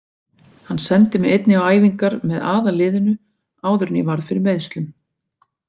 Hann sendi mig einnig á æfingar með aðalliðinu áður en ég varð fyrir meiðslum.